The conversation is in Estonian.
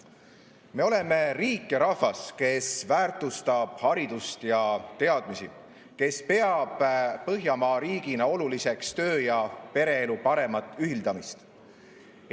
Me oleme riik ja rahvas, kes väärtustab haridust ja teadmisi, kes peab põhjamaa riigina oluliseks töö ja pereelu paremat ühildamist.